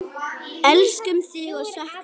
Elskum þig og söknum þín.